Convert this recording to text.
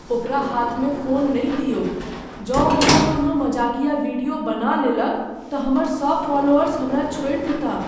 ओकरा हाथमे फोन नहि दियौक। जँ ओ हमर कोनो मजाकिया वीडियो बना लेलक तँ हमर सभ फॉलोअर्स हमरा छोड़ि देताह ।